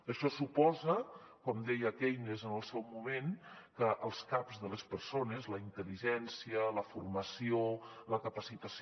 això suposa com deia keynes en el seu moment que els caps de les persones la intel·ligència la formació la capacitació